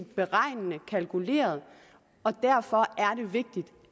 beregnende kalkuleret og derfor er vigtigt